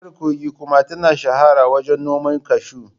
Jihar Kogi kuma ta shahara wajen noman kashu.